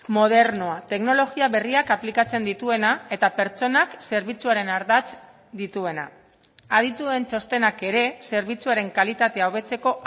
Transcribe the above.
modernoa teknologia berriak aplikatzen dituena eta pertsonak zerbitzuaren ardatz dituena adituen txostenak ere zerbitzuaren kalitatea hobetzeko